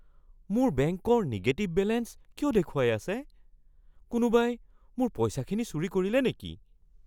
মোৰ বেংকৰ negative balance কিয় দেখুৱাই আছে? কোনোবাই মোৰ পইচাখিনি চুৰি কৰিলে নেকি?